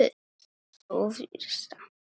Sú fyrsta?